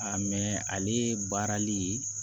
A mɛn ale baarali